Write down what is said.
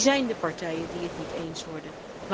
Wie zijn de partijen die het niet eens worden?